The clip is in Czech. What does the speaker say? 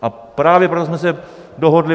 A právě proto jsme se dohodli.